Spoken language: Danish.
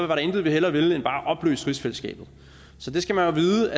der intet vi hellere ville end bare at opløse rigsfællesskabet så det skal man vide